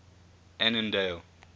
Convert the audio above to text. annandale